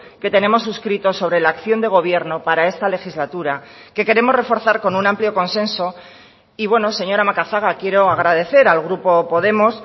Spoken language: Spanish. que tenemos suscrito sobre la acción de gobierno para esta legislatura que queremos reforzar con un amplio consenso y bueno señora macazaga quiero agradecer al grupo podemos